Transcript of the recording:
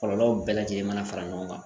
Kɔlɔlɔw bɛɛ lajɛlen mana fara ɲɔgɔn kan